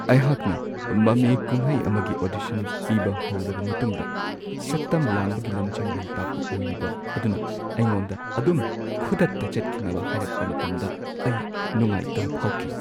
ꯑꯩꯍꯥꯛꯅ ꯃꯃꯤ-ꯀꯨꯝꯍꯩ ꯑꯃꯒꯤ ꯑꯣꯗꯤꯁꯟ ꯄꯤꯕ ꯍꯧꯔꯕ ꯃꯇꯨꯡꯗ ꯁꯛꯇꯝ-ꯂꯥꯡꯕꯒꯤ ꯂꯝꯖꯤꯡ-ꯂꯝꯇꯥꯛꯄ ꯑꯣꯏꯔꯤꯕ ꯑꯗꯨꯅ ꯑꯩꯉꯣꯟꯗ ꯑꯗꯨꯝ ꯈꯨꯗꯛꯇ ꯆꯠꯈꯤꯅꯕ ꯍꯥꯢꯔꯛꯄ ꯃꯇꯝꯗ ꯑꯩ ꯅꯨꯡꯉꯥꯏꯇꯕ ꯐꯥꯎꯈꯤ ꯫